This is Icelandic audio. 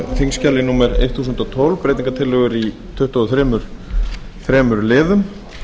þingskjali númer eitt þúsund og tólf breytingartillögur í tuttugu og þremur liðum